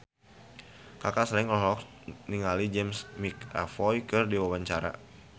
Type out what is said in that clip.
Kaka Slank olohok ningali James McAvoy keur diwawancara